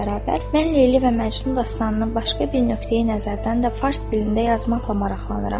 Mən Leyli və Məcnun dastanını başqa bir nöqteyi-nəzərdən də fars dilində yazmaqla maraqlanıram.